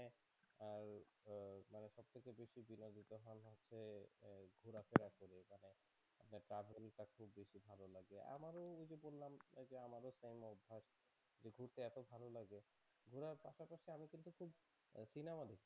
অচেনা মানুষ